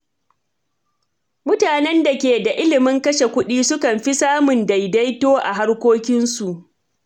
Mutanen da ke da ilimin kashe kuɗi sukan fi samun daidaito a harkokinsu.